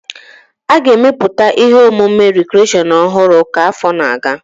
A ga-emepụta ihe omume rikreshọn ọhụrụ ka afọ na-aga